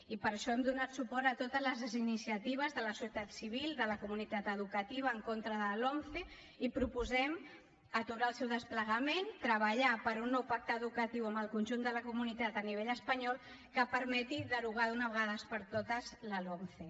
i per això hem donat suport a totes les iniciatives de la societat civil de la comunitat educativa en contra de la lomce i proposem aturar el seu desplegament treballar per un nou pacte educatiu amb el conjunt de la comunitat a nivell espanyol que permeti derogar d’una vegada per totes la lomce